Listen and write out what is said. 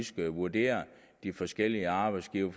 skal vurdere de forskellige arbejdsgivere